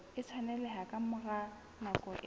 tshwaneleha ka mora nako e